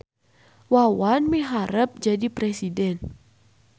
Wawan miharep jadi presiden